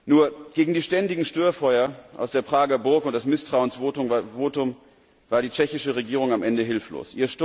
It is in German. Nur gegen die ständigen Störfeuer aus der Prager Burg und das Misstrauensvotum war die tschechische Regierung am Ende hilflos.